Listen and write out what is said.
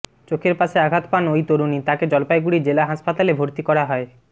চোখের পাশে আঘাত পান ওই তরুণী তাকে জলপাইগুড়ি জেলা হাসপাতালে ভর্তি করা হয়